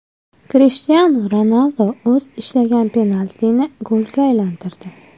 Krishtianu Ronaldu o‘z ishlagan penaltini golga aylantirdi.